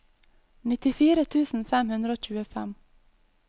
nittifire tusen fem hundre og tjuefem